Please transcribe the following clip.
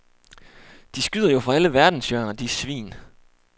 De skyder jo fra alle verdenshjørner, de svin.